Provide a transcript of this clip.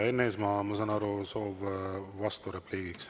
Enn Eesmaa, ma saan aru, soov vasturepliigiks.